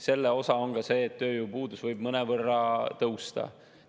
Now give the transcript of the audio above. Selle osa on ka see, et tööpuudus võib mõnevõrra tõusta.